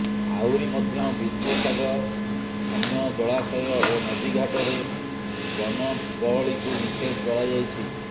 ଆହୁରି ମଧ୍ୟ ବିନ୍ଦୁସାଗର ଅନ୍ୟ ଜଳାଶୟ ଓ ନଦୀଘାଟରେ ଜନଗହଳିକୁ ନିଷେଧ କରାଯାଇଛି